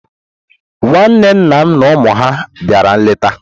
Nwanne nna m na ụmụ ya bịara nleta.